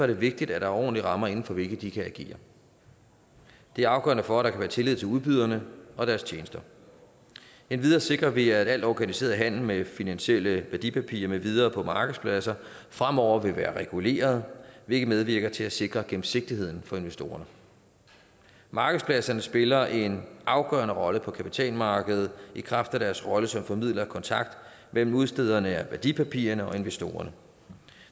det vigtigt at der er ordentlige rammer inden for hvilke de kan agere det er afgørende for at der kan være tillid til udbyderne og deres tjenester endvidere sikrer vi at al organiseret handel med finansielle værdipapirer med videre på markedspladser fremover vil være reguleret hvilket medvirker til at sikre gennemsigtigheden for investorerne markedspladserne spiller en afgørende rolle på kapitalmarkedet i kraft af deres rolle som formidlere af kontakt mellem udstederne af værdipapirer og investorerne